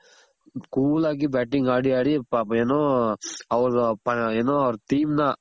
cool ಆಗಿ batting ಆಡಿ ಆಡಿ ಪಾಪ ಏನು ಅವ್ರ್ ಏನು team ನ